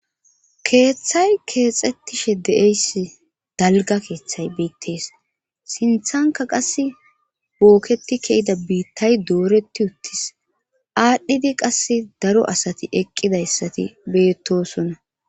Keeththay keexxettishe de'eyssi dalga keeththay biittees sinthanka qas bookketi ke'ida biittay dooretti uttis aadhdhidi qas daro asati eqqidayssati beettosona.